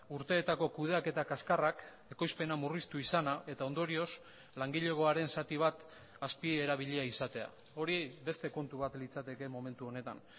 urteetako kudeaketa kaskarrak ekoizpena murriztu izana eta ondorioz langilegoaren zati bat azpierabilia izatea hori beste kontu bat litzateke momentu honetan